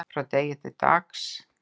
frá degi til dags